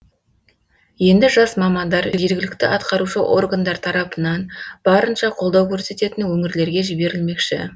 енді жас мамандар жергілікті атқарушы органдар тарапынан барынша қолдау көрсететін өңірлерге жіберілмекші